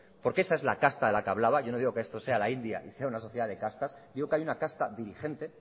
porque esa es la casta de la que hablaba yo no digo que esto sea la india y sea una sociedad de castas digo que hay una casta diligente